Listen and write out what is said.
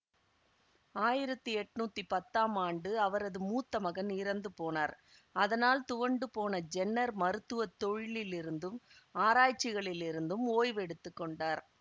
ஆயிரத்தி எட்ணூத்தி பத்தாம் ஆண்டு அவரது மூத்த மகன் இறந்து போனார் அதனால் துவண்டுபோன ஜென்னர் மருத்துவ தொழிலிருந்தும் ஆராய்ச்சிகளிலிருந்தும் ஓய்வு எடுத்து கொண்டார்